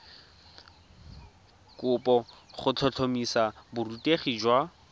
kopo go tlhotlhomisa borutegi jwa